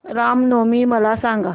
राम नवमी मला सांग